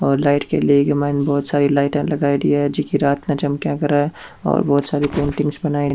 और लाइट के लिए माइन बहुत सारी लाइटा लगयेड़ी है जेकी रात में चमका करे और बहुत सारी पेंटिंगस बनाई --